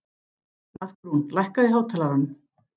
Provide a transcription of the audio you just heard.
Markrún, lækkaðu í hátalaranum.